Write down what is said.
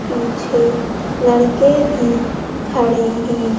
पीछे लड़के भी खड़े हैं।